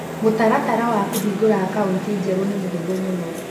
Mũtaratara wa kũhingũra akaũntĩ njerũ nĩ mũhũthũ mũno.